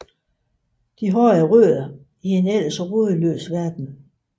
De har rødder i en ellers rodløs verden